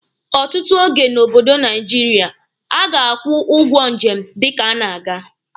Ọtụtụ oge n'obodo Naijiria, a ga-akwụ ụgwọ njem dịka a na-aga.